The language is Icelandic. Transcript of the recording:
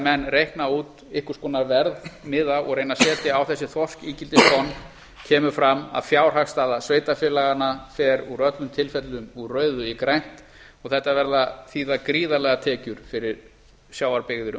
enn reikna út einhvers konar verðmiða og reyna að setja á þessi þorskígildistonn kemur fram að fjárhagsstaða sveitarfélaganna fer úr öllum tilfellum úr rauðu í grænt og þetta verða síðan gríðarlegar tekjur fyrir sjávarbyggðir um allt